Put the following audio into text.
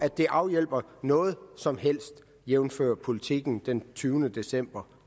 det afhjælper noget som helst jævnfør politiken den tyvende december